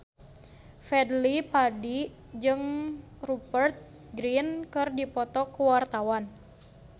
Fadly Padi jeung Rupert Grin keur dipoto ku wartawan